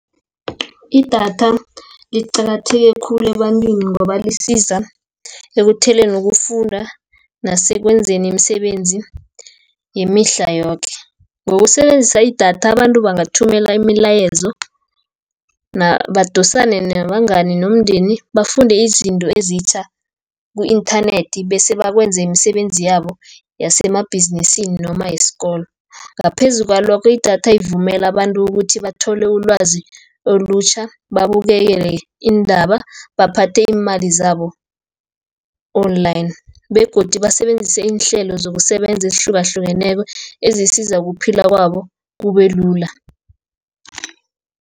Idatha liqakatheke khulu ebantwini, ngoba lisiza ukufunda nasekwenzeni imisebenzi yemihla yoke. Ngokusebenzisa idatha abantu bangathumela imilayezo, badosane nabangani, nomndeni, bafunde izinto ezitjha ku-inthanethi, bese bakwenze imisebenzi yabo yasemabhizinisini noma yesikolo. Ngaphezu kwalokho idatha ivumela abantu ukuthi bathole ulwazi olutjha, babukele iindaba, baphathe iimali zabo-Online, begodu basebenzise iinhlelo zokusebenza ezihlukahlukeneko, ezisiza ukuphila kwabo kubelula.